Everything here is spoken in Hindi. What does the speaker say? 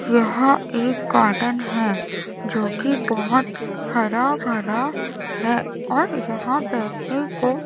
यह एक गार्डन है जो की बहोत हरा भरा है और यहां बैठने को--